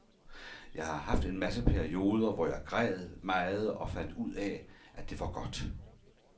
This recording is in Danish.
Jeg har haft en masse perioder, hvor jeg græd meget og fandt ud af, at det var godt.